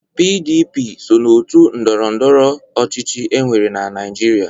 PDP so n'òtù ndọrọ ndọrọ ọchịchị e nwere na Naịjirịa.